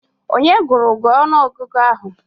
Onye gụụrụ gị ọnụọgụgụ ahụ?